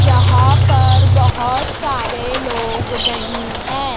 यहां पर बहुत सारे लोग नहीं हैं।